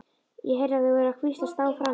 Ég heyrði að þau voru að hvíslast á frammi.